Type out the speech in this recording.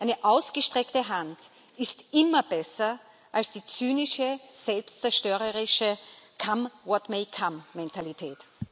Eine ausgestreckte Hand ist immer besser als die zynische, selbstzerstörerische come what may come Mentalität.